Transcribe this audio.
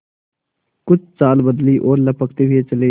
कुछ चाल बदली और लपकते हुए चले